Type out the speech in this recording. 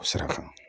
Sirafa